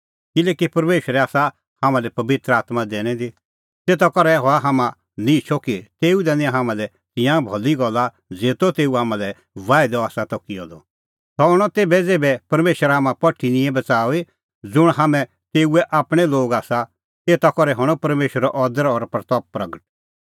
किल्हैकि परमेशरै आसा हाम्हां लै पबित्र आत्मां दैनी दी तेता करै हआ हाम्हां निहंचअ कि तेऊ दैणीं हाम्हां लै तिंयां भली गल्ला ज़ेतो तेऊ हाम्हां लै बाहिदअ आसा किअ द सह हणअ तेभै ज़ेभै परमेशर हाम्हां पठी निंए बच़ाऊई ज़ुंण हाम्हैं तेऊए आपणैं लोग आसा एता लै करनी हाम्हां परमेशरे महिमां